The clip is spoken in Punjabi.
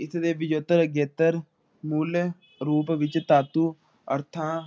ਇਸ ਲਾਇ ਵਿਜੇਤਰ ਅਗੇਤਰ ਮੁੱਲ ਰੂਪ ਵਿੱਚ ਤਾਤੂ ਅਰਥਾਂ